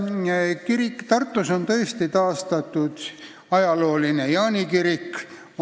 Tartus on tõesti taastatud ajalooline Jaani kirik.